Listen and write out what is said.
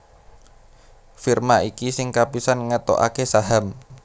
Firma iki sing kapisan ngetokaké saham